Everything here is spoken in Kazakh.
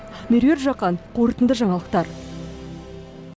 меруерт жақан қорытынды жаңалықтар